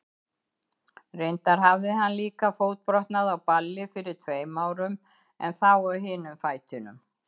Reyndar hafði hann líka fótbrotnað á balli fyrir tveimur árum, en þá á hinum fætinum.